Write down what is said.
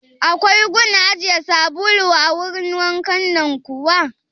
Akwai gun ajiye sabulu a wurin wankan nan kuwa?